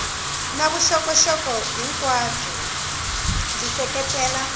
na vuxokoxoko hinkwabyo byi seketela